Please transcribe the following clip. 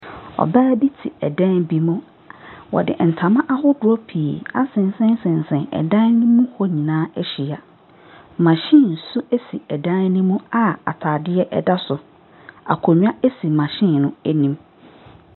Ɔbaa bi tse dan bi mu, wɔde ntama ahodoɔ pii asensɛnsensɛn dan ne mu hɔ nyinaa ahyia, machine nso dan ne mu a ataadeɛ da so, akonnwa si machine no anim.